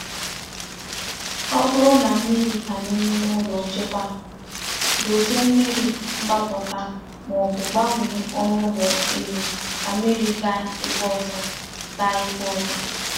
Ọ bụrụ na mmiri banye n’ime ụlọ nchekwa, dozie mmiri mgbapụta ma ọ bụ gbanwee ọnụ ụlọ elu ka mmiri gaa ebe ọzọ. gaa ebe ọzọ.